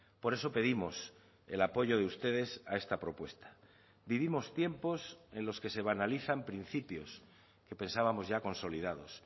por eso pedimos el apoyo de ustedes a esta propuesta vivimos tiempos en los que se banalizan principios que pensábamos ya consolidados